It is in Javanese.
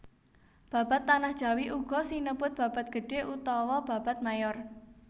Babad Tanah Jawi uga sinebut babad gedhé utawa babad mayor